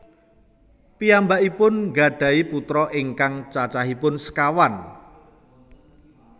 Piyambakipun nggadhahi putra ingkang cacahipun sekawan